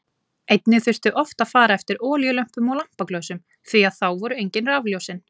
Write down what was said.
Einnig þurfti oft að fara eftir olíulömpum og lampaglösum því að þá voru engin rafljósin.